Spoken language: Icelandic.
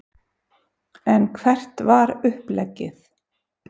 En hvert var uppleggið?